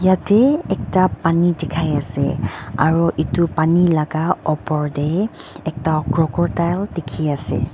yatey ekta paani dikhai ase aro itu paani laga opor tey ekta crocodile dikhi ase.